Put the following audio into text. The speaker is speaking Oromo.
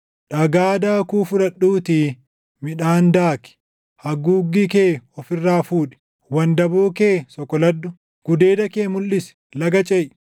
Dhagaa daakuu fudhadhuutii midhaan daaki; haguuggii kee of irraa fuudhi. Wandaboo kee soqoladhu; gudeeda kee mulʼisi; laga ceʼi.